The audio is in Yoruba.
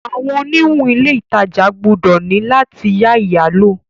Awọn oniwun ile itaja gbọdọ ni lati ya iyalo